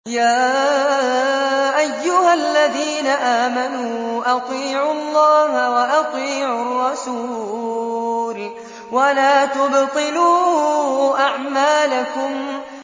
۞ يَا أَيُّهَا الَّذِينَ آمَنُوا أَطِيعُوا اللَّهَ وَأَطِيعُوا الرَّسُولَ وَلَا تُبْطِلُوا أَعْمَالَكُمْ